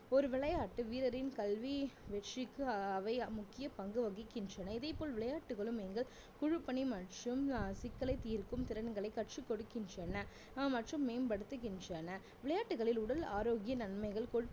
ஒரு விளையாட்டு வீரரின் கல்வி வெற்றிக்கு அவை முக்கிய பங்கு வகிக்கின்றன இதேபோல் விளையாட்டுகளும் எங்கள் குழு பணி மற்றும் சிக்கலை தீர்க்கும் திறன்களை கற்றுக்கொடுக்கின்றன மற்றும் மேம்படுத்துகின்றன விளையாட்டுகளில் உடல் ஆரோக்கிய நன்மைகள்